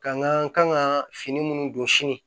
Ka n ka kan ka fini minnu don sini